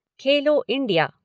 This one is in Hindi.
खेलो इंडिया